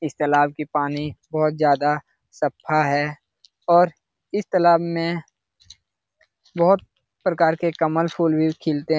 इस तालाब की पानी बहुत ज्यादा सफा है और इस तलाब में बहुत प्रकार के कमल फूल भी खिलते --